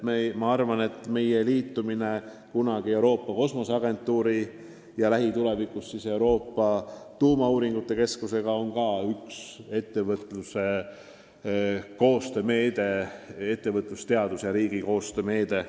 Ma arvan, et meie tulevane liitumine Euroopa Kosmoseagentuuri ja lähitulevikus Euroopa Tuumauuringute Keskusega on samuti ettevõtluse, teaduse ja riigi koostöö meede.